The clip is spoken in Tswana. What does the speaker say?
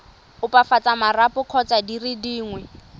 opafatsa marapo kgotsa dire dingwe